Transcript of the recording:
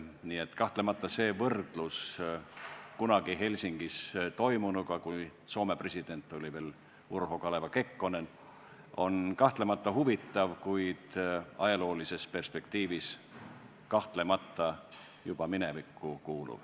Nii et see võrdlus kunagi Helsingis toimunuga, kui Soome president oli veel Urho Kaleva Kekkonen, on kahtlemata huvitav, kuid ajaloolises perspektiivis juba minevikku kuuluv.